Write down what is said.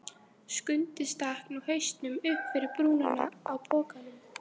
Skundi stakk nú hausnum upp fyrir brúnina á pokanum.